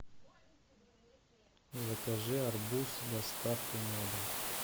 закажи арбуз с доставкой на дом